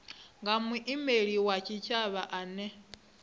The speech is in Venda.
nga muimeli wa tshitshavha ane